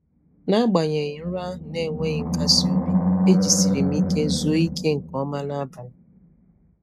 N'agbanyeghị nrọ ahụ na-enweghị nkasi obi, e jisiri m ike zuo ike nke ọma n'abalị.